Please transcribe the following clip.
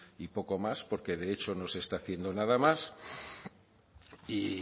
y poco más porque de hecho no se está haciendo nada más y